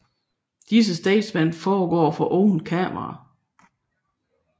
Disse statements foregår for åbent kamera